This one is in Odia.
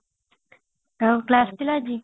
ଆଉ class ଥିଲା ଆଜି